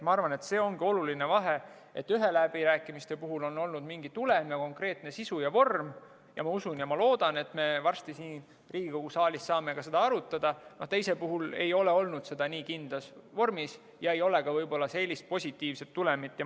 Ma arvan, et see ongi oluline vahe, et ühtede läbirääkimiste puhul on olnud mingi tulem ja konkreetne sisu ja vorm ning ma usun ja loodan, et me varsti siin Riigikogu saalis saame seda arutada, teiste puhul ei ole olnud seda nii kindlas vormis ja ei ole ka võib-olla sellist positiivset tulemit.